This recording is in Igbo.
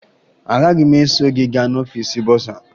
Agaghị m eso gị gaa n'ọfiisi bọsaa